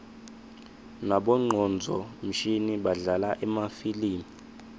nabongcondvo mshini badlala emafilimi